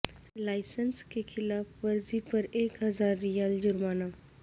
licence کی خلاف ورزی پر ایک ہزار ریال جرمانہ